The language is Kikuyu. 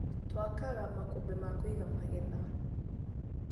Twakaga makũmbĩ ma kũiga magetha.